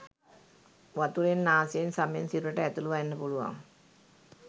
වතුරෙන් නාසයෙන් සමෙන් සිරුරට ඇතුල් වෙන්න පුළුවන්